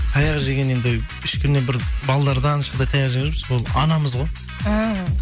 таяқ жеген енді ешкімнен бір балалардан ешқандай таяқ жеген жоқпыз бұл анамыз ғой ііі